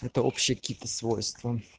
это общее какие то свойство